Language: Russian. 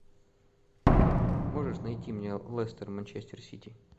можешь найти мне лестер манчестер сити